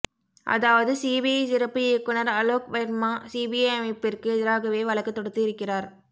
அதாவது சிபிஐ சிறப்பு இயக்குனர் அலோக் வெர்மா சிபிஐ அமைப்பிற்கு எதிராகவே வழக்கு தொடுத்து இருக்கிறார்